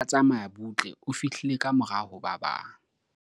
ya neng a tsamaya butle o fihlile ka morao ho ba bang